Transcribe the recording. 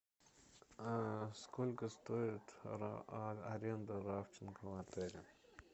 сколько стоит аренда рафтинга в отеле